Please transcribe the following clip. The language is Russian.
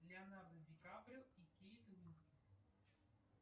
леонардо ди каприо и кейт уинслет